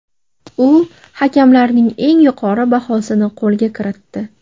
U hakamlarning eng yuqori bahosini qo‘lga kiritdi.